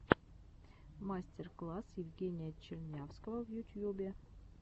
мастер класс евгения чернявского в ютьюбе